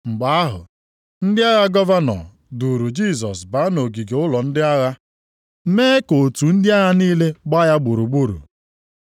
Mgbe ahụ ndị agha gọvanọ duuru Jisọs baa nʼogige ụlọ ndị agha, + 27:27 Nke a na-akpọ Pritoriọm nʼasụsụ Griik. mee ka otu ndị agha niile gbaa ya gburugburu.